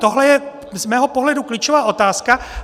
To je z mého pohledu klíčová otázka.